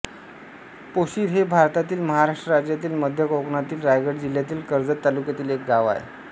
पोशिर हे भारतातील महाराष्ट्र राज्यातील मध्य कोकणातील रायगड जिल्ह्यातील कर्जत तालुक्यातील एक गाव आहे